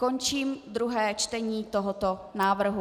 Končím druhé čtení tohoto návrhu.